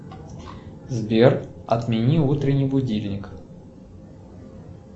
сбер отмени утренний будильник